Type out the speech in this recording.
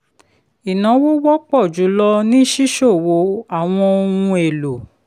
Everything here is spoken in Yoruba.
ìnáwó wọpọ̀ jù lọ ni ṣíṣòwò àwọn ohun èlò.